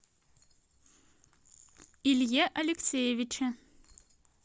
илье алексеевиче